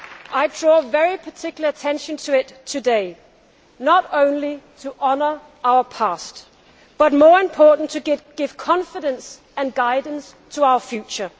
I draw very particular attention to it today not only to honour our past but more importantly to give confidence and guidance to our future.